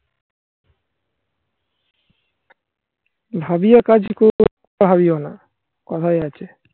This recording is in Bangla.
ভাবিও না. করা ভাবিও কথাই আছে